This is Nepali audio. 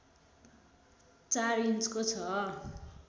४ इन्चको छ